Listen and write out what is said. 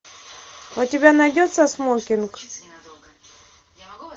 у тебя найдется смокинг